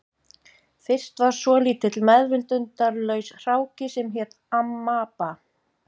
Fyrst var svolítill meðvitundarlaus hráki sem hét amaba